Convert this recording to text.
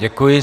Děkuji.